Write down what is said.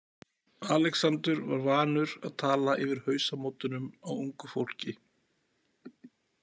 Alexander var vanur að tala yfir hausamótunum á ungu fólki.